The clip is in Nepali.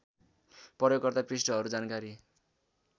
प्रयोगकर्ता पृष्ठहरू जानकारी